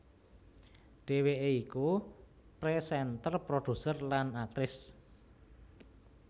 Dhéwéké iku présénter produser lan aktris